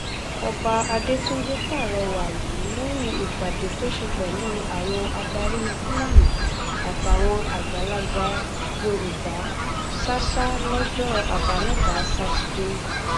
ọba adétúnjì pàrọwà yìí lẹyìn ìpàdé tó ṣe pẹlú àwọn adarí fúlání àtàwọn àgbàlagbà yorùbá ṣàṣà lọjọ àbámẹta sátidé